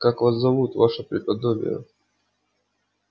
как вас зовут ваше преподобие